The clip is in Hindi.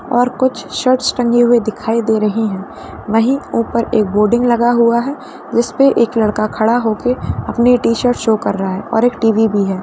और कुछ शर्टस टंगी हुई दिखाई दे रही है वही ऊपर एक बोर्डिंग लगा हुआ है जिसपे एक लड़का खड़ा होके अपनी टीशर्ट शो कर रहा है और एक टीवी भी है।